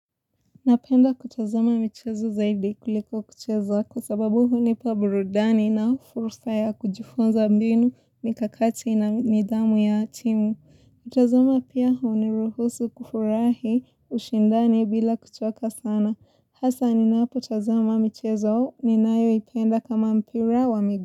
Napenda kutazama michezo zaidi kuliko kucheza kwa sababu hunipa burudani na fursa ya kujifunza mbinu mikakati na nidhamu ya timu. Kutazama pia huniruhusu kufurahi ushindani bila kuchoka sana. Hasa ninapo tazama michezo ninayoipenda kama mpira wa migu.